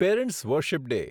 parents worship day